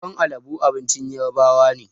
Tuwon alabo abincin ƴarbawa ne.